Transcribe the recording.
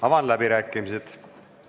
Avan läbirääkimised.